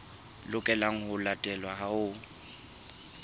lokelang ho latelwa ha ho